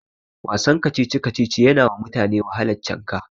Wasan kacici-kacici yanawa mutane wahalan cinka.